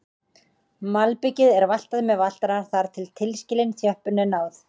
Malbikið er valtað með valtara þar til tilskilinni þjöppun er náð.